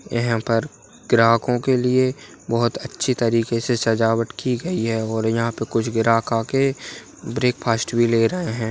यहाँ पर ग्राहकों के लिए बहुत अच्छे तरीके से सजावट की गई है और यहाँ कुछ ग्राहक आ कर के ब्रेक्फस्ट भी ले रहें हैं।